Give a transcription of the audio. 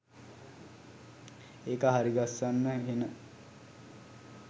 ඒක හරිගස්සන්න හෙන